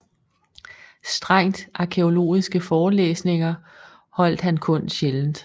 Strengt arkæologiske forelæsninger holdt han kun sjældent